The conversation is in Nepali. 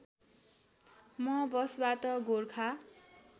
म बसबाट गोरखा